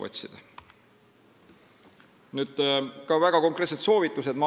Maailmapangal olid ka väga konkreetsed soovitused.